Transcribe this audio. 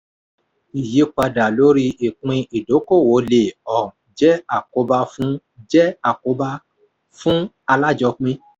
ìyípadà lórí ìpín idókoòwò le um jẹ àkóbá fún jẹ àkóbá fún alájọpín.